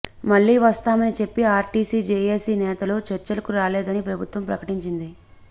మళ్లీ వస్తామని చెప్పి ఆర్టీసీ జేఎసీ నేతలు చర్చలకు రాలేదని ప్రభుత్వం ప్రకటించింది